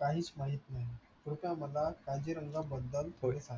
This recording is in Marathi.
काहीच माहित नाही स्वतः मला काजीरंगाबद्दल काही सांगा